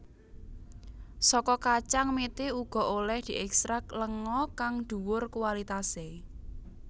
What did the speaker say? Saka kacang mete uga olèh diekstrak lenga kang dhuwur kualitasé